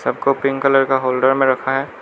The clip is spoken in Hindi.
सब को पिंक कलर का होल्डर में रखा है।